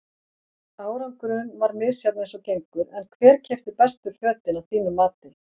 Árangurinn var misjafn eins og gengur en hver keypti bestu fötin að þínu mati?